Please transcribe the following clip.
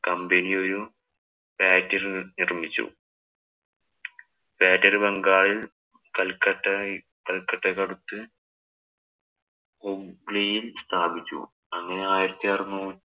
company ഒരു factory നിര്‍മ്മിച്ചു. Factory ബംഗാളില്‍ കല്‍ക്കട്ടയ് കല്‍ക്കട്ടയ്ക്ക് അടുത്ത് ഹുഗ്ലിയില്‍ സ്ഥാപിച്ചു. അങ്ങനെ ആയിരത്തി അറുന്നൂ